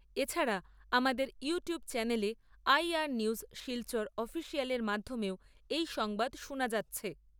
এছাড়া আমাদের YouTube channel এ আইআর নিউজ শিলচর অফিসিয়ালের মাধ্যমেও এই সংবাদ শোনা যাচ্ছে।